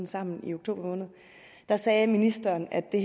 sammen i oktober måned sagde ministeren at det